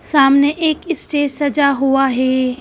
सामने एक स्टेज सजा हुआ है।